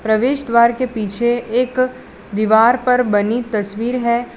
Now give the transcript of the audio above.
प्रवेश द्वार के पीछे एक दीवार पर बनी तस्वीर है।